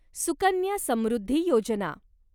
Sukanya Samriddhi Yojana